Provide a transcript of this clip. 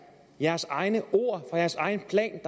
jeres egne ord fra jeres egen plan